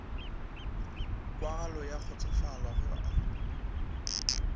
kwagalo ya kgotsofalo ge a